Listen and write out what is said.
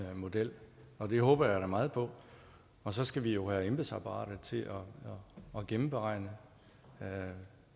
model og det håber jeg da meget på og så skal vi jo have embedsapparatet til at gennemregne det